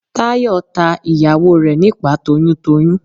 Táyọ̀ ta ìyàwó rẹ̀ nípàá toyún toyún.